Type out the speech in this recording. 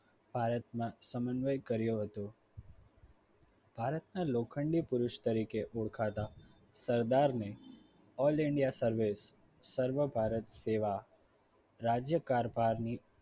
ભારતમાં સમન્વય કર્યો હતો. ભારતના લોખંડી પુરૂષ તરીકે ઓળખાતા સરદારને all india સર્વે સર્વ ભારત સેવા રાજ્યકારભારની